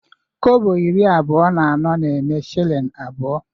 Kobo iri abụọ na anọ na-eme shilling abụọ